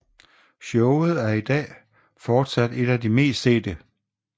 Showet er i dag fortsat et af de meste sete